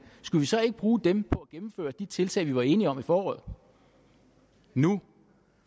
skulle vi så ikke bruge dem på at gennemføre de tiltag som vi var enige om i foråret nu